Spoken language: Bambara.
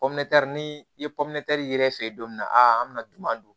ni i ye yɛrɛ fe yen don min na a an mi na duguman don